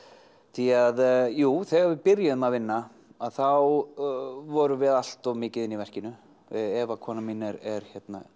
því að jú þegar við byrjuðum að vinna þá vorum við allt of mikið inni í verkinu Eva konan mín er